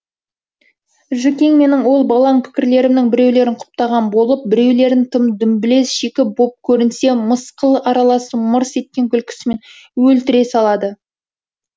жүкең менің ол балаң пікірлерімнің біреулерін құптаған болып біреулерін тым дүмбілез шикі боп көрінсе мысқыл аралас мырс еткен күлкісімен өлтіре салады